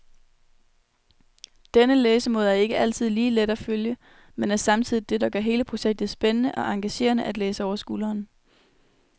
Denne læsemåde er ikke altid lige let at følge, men er samtidig det, der gør hele projektet spændende og engagerende at læse over skulderen.